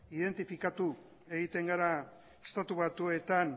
identifikatu egiten gara estatu batuetan